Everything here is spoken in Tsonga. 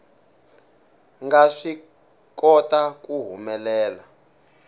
nga swi kota ku humelela